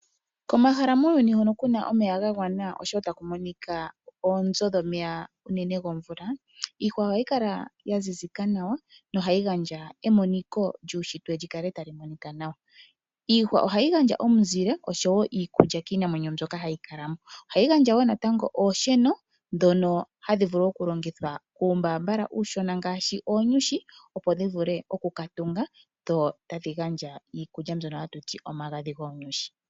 Komahala muuyuni hono ku na omeya ga gwana nosho wo taku monika oonzo dhomeya unene gomvula. Iihwa ohayi kala ya zizika nawa nohayi gandja emoniko lyuushitwe li kale tali monika nawa. Iihwa ohayi gandja omuzile osho wo iikulya kiinamwenyo mbyoka hayi kala mo. Ohayi gandja wo natango oonsheno ndhono hadhi vulu okulongithwa kuumbaambala uushona ngaashi oonyushi opo dhi vule oku ka tunga dho tadhi gandja iikulya mbyono hatu ti omagadhi goonyushi.